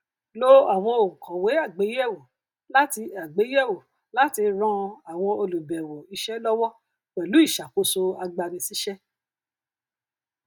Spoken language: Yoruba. lò àwọn ònkòwé àgbèyèwò láti àgbèyèwò láti ràn àwọn olùbèwò isé lọwọ pẹlú iṣakoso ìgbanisísé